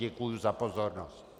Děkuji za pozornost.